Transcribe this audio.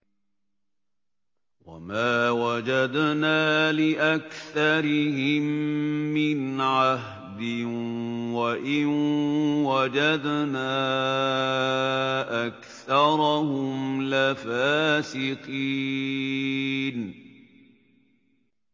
وَمَا وَجَدْنَا لِأَكْثَرِهِم مِّنْ عَهْدٍ ۖ وَإِن وَجَدْنَا أَكْثَرَهُمْ لَفَاسِقِينَ